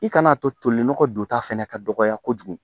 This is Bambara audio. I kana a to tolinɔgɔ donta fana ka dɔgɔya kojugu